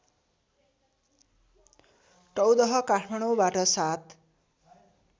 टौदह काठमाडौँबाट ७